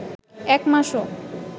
এক মাসও